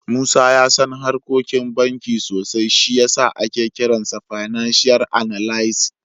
Musa ya san harkokin banki sosai, shi ya sa ake kiransa fananshiyal analis.